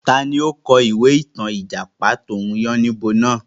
Taàní ó kọ̀ ìwé ìtàn Ìjàpá tòun yànnìbo náà?